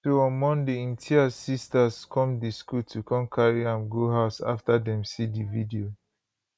so on monday imtiaz sisters come di school to con carry am go house afta dem see di video